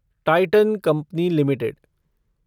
Titan company limited